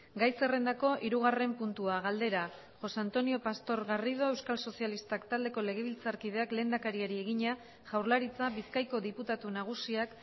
gai zerrendako hirugarren puntua galdera josé antonio pastor garrido euskal sozialistak taldeko legebiltzarkideak lehendakariari egina jaurlaritza bizkaiko diputatu nagusiak